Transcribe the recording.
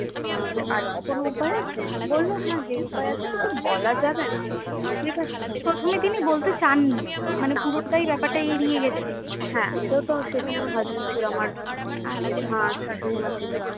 আহ আর কি কোনো উপায় আছে? বললো হ্যাঁ যে উপায় আছে কিন্তু বলা যাবে না ঠিক আছে? প্রথমে তিনি বলতে চাননি মানে পুরোটাই ব্যাপারটা এড়িয়ে গেছে? হ্যাঁ সেহেতু সেখানে আমার husband ছিল আমার আমার শ্বাশুড়িমা ছিল